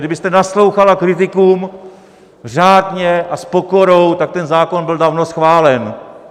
Kdybyste naslouchala kritikům řádně a s pokorou, tak ten zákon byl dávno schválen.